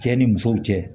Cɛ ni muso cɛ